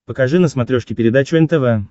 покажи на смотрешке передачу нтв